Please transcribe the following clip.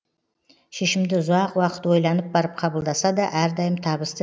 шешімді ұзақ уақыт ойланып барып қабылдаса да әрдайым табысты